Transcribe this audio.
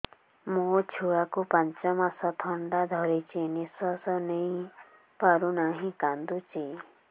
ମୋ ଛୁଆକୁ ପାଞ୍ଚ ମାସ ଥଣ୍ଡା ଧରିଛି ନିଶ୍ୱାସ ନେଇ ପାରୁ ନାହିଁ କାଂଦୁଛି